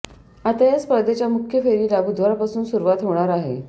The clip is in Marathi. आता या स्पर्धेच्या मुख्य फेरीला बुधवारपासून सुरुवात होणार आहे